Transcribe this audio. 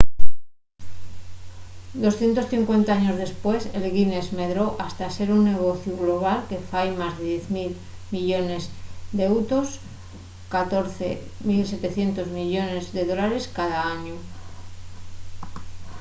250 años depués el guiness medró hasta ser un negociu global que fai más de 10.000 millones d’eutos us$ 14.700 millones cada añu